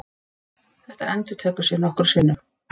Þetta endurtekur sig nokkrum sinnum.